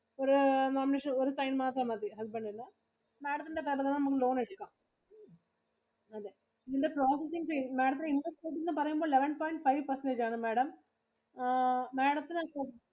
ഒരു Nomination ഒരു sign മാത്രം മതി husband ഇന്റെ. Madam ത്തിന്റെ പേരിൽ തന്നെ നമക്ക് loan എടുക്കാം. അതെ. ഇതിന്റെ processing fee, Madam ത്തിന്റെ interest rate എന്ന് പറയുമ്പോ eleven point five percentage ആണ് Madam ആ Madam ത്തിനു